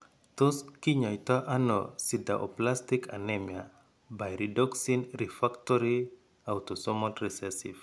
Tos kinyaaytano sideroblastic anemia pyridoxine refactory autosomal ressessive?